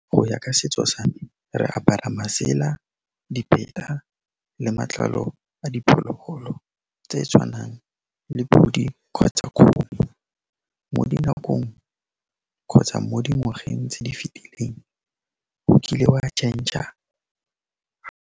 Go ya ka setso sa me re apara masela dipheta le matlalo a diphologolo tse di tshwanang le pudi kgotsa kgomo mo dinakong kgotsa mo dingwageng tse di fetileng o kile wa change-r.